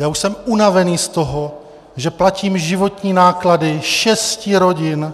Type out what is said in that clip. Já už jsem unavený z toho, že platím životní náklady šesti rodin,